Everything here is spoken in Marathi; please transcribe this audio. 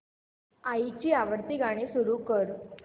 आईची आवडती गाणी सुरू कर